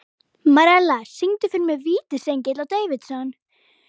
Marella, syngdu fyrir mig „Vítisengill á Davidson“.